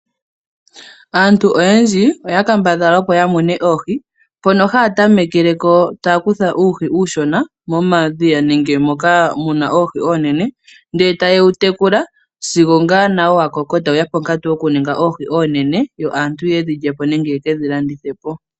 Aantu oyendji oya kambadhala opo ya mune oohi . Mpono haya tamekeleko taya kutha uuhi uushona momadhiya nenge moka muna oohi oonene ndele taye wu tekula . Sigo ngaa nawo wa koko etawuya ponkantu yoku ninga oohi oonene opo aantu yedhi lyepo nenge ye dhi landithapo.